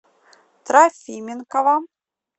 трофименкова